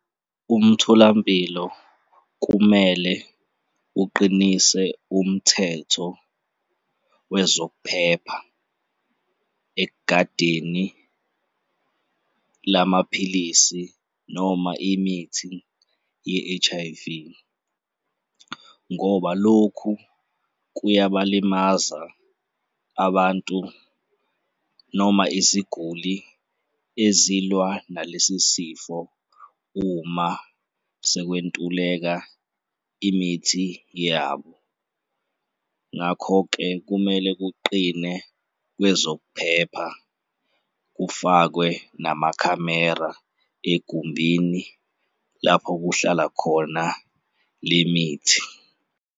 Umtholampilo kumele uqinise umthetho wezokuphepha ekugadeni lamaphilisi noma imithi ye-H_I_V ngoba lokhu kuyabalimaza abantu noma iziguli ezilwa nalesi sifo uma sekwentuleka imithi yabo. Ngakho-ke kumele kuqine kwezokuphepha kufakwe namakhamera egumbini lapho kuhlala khona le mithi.